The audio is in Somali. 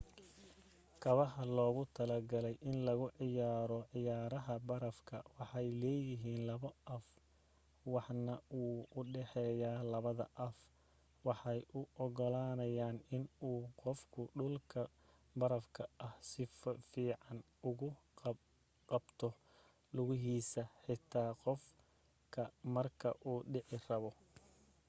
kabaha loogu talagalay in lagu ciyaaro ciyaaraha barafka waxay leeyahiin laba af waxna wuu u dhaxeeya. labada af waxay u ogolaanayaan in uu qofku dhulka barafka ah si fican ugu qabto lugahiisa, xitaa qof ka marka uu dhici rabo